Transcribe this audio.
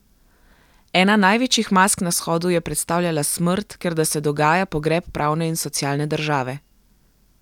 Ena največjih mask na shodu je predstavljala smrt, ker da se dogaja pogreb pravne in socialne države.